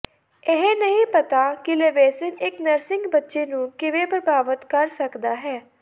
ਇਹ ਨਹੀਂ ਪਤਾ ਕਿ ਲੇਵਿਸਿਨ ਇੱਕ ਨਰਸਿੰਗ ਬੱਚੇ ਨੂੰ ਕਿਵੇਂ ਪ੍ਰਭਾਵਤ ਕਰ ਸਕਦਾ ਹੈ